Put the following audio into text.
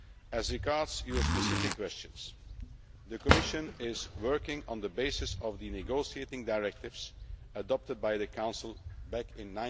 As regards your specific questions, the Commission is working on the basis of the negotiating directives adopted by the Council back in